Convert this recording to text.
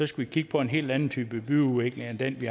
skal kigge på en hel anden type byudvikling end den de